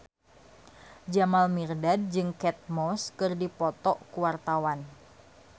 Jamal Mirdad jeung Kate Moss keur dipoto ku wartawan